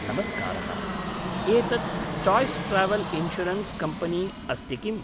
नमस्कारः, एतत् Chase travel insurance company अस्ति किम्?